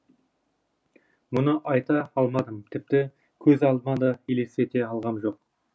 мұны айта алмадым тіпті көз алдыма да елестете алғам жоқ